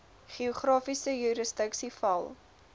geografiese jurisdiksie val